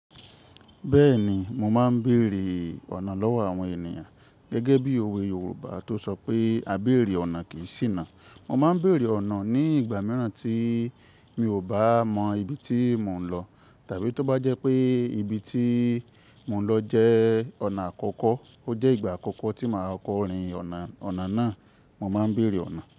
Bẹ́ẹ̀ni mo máa ń bèèrè ọ̀nà lọ́wọ́ àwọn ènìyàn. Gẹ́gẹ́ bí òwe Yorùbá tó sọ pé "A bèèrè ọ̀nà kì í ṣìnà". Mo máa ń bèèrè ọ̀nà ní ìgbà mìíràn tí mi ò bá mọ ibi tí mò ń lọ tàbí tó bá jẹ́ pé ibi tí mò ń lọ jẹ́ ọ̀nà àkọ́kọ́, ó jẹ́ ìgbà àkọ́kọ́ tí màá kọrin ọ̀nà, ọ̀nà náà, mo máa ń bèèrè ọ̀nà.